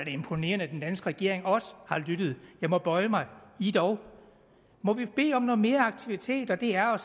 imponerende at den danske regering også har lyttet jeg må bøje mig ih dog må vi bede om noget mere aktivitet og det er